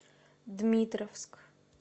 дмитровск